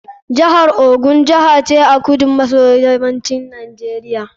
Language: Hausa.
Jihar Ogun Jiha ce a kudu maso yammacin Najeriya.